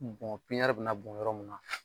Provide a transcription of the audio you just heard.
Bɔn pipiɲɛri bɛ na bɔn yɔrɔ min na